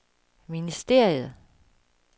ministeriet